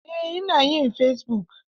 Eh, ina yin fesibuk.